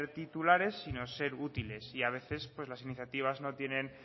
titulares sino ser útiles y a veces las iniciativas no tienen